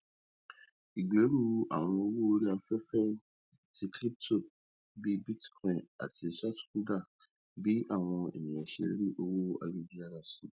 ìgbèrú àwọn owó orí afẹfẹ ti kíríptò bí bítíkọínì ti ṣàtúndá bí àwọn ènìyàn ṣe rí owó àyélujára sí